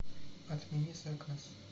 отмени заказ